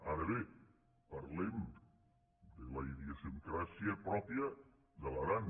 ara bé parlem de la idiosincràsia pròpia de l’aran